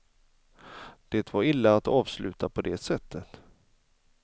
Det var illa att avsluta på det sättet.